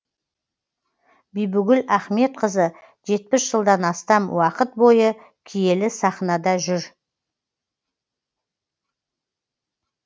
бибігүл ахметқызы жетпіс жылдан астам уақыт бойы киелі сахнада жүр